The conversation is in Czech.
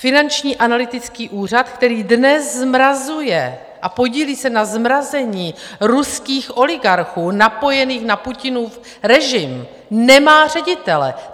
Finanční analytický úřad, který dnes zmrazuje a podílí se na zmrazení ruských oligarchů napojených na Putinův režim, nemá ředitele.